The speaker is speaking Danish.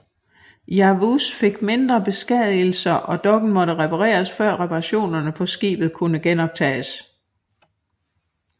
Yavuz fik mindre beskadigelser og dokken måtte repareres før reparationerne på skibet kunne genoptages